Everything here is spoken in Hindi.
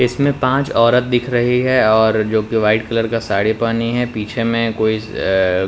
इसमें पांच औरत दिख रही है और जो कि वाइट कलर का साड़ी पानी है पीछे में कोई अ अ --